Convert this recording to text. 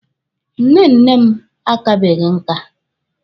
Nne nne m akabeghi nka.